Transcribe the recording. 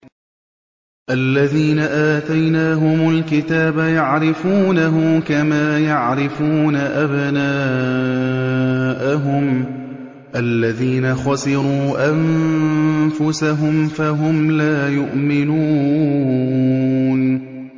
الَّذِينَ آتَيْنَاهُمُ الْكِتَابَ يَعْرِفُونَهُ كَمَا يَعْرِفُونَ أَبْنَاءَهُمُ ۘ الَّذِينَ خَسِرُوا أَنفُسَهُمْ فَهُمْ لَا يُؤْمِنُونَ